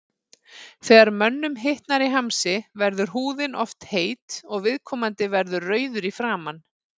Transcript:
Þegar mönnum hitnar í hamsi verður húðin oft heit og viðkomandi verður rauður í framan.